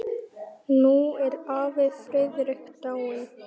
Nú er afi Friðrik dáinn.